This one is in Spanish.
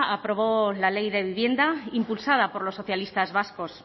aprobó la ley de vivienda impulsada por los socialistas vascos